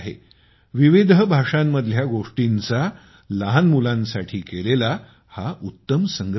विविध भाषांतील गोष्टींचा लहान मुलांसाठी केलेला हा उत्तम संग्रह आहे